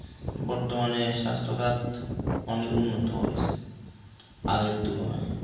বর্তমানে স্বাস্থ্য খাত অনেক উন্নত হইসে আগের তুলনায়।